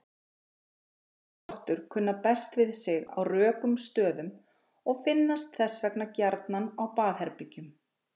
Silfurskottur kunna best við sig á rökum stöðum og finnast þess vegna gjarnan á baðherbergjum.